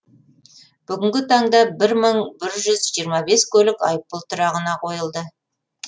бүгінгі таңда бір мың бір жүз жиырма бес көлік айыппұл тұрағына қойылды